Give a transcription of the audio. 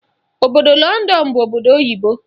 Obodo Lọndọn bụ obodo oyibo.